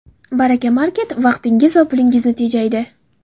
Baraka market – vaqtingiz va pulingizni tejaydi.